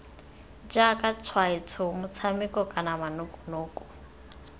jaaka tshwaetso motshameko kana manokonoko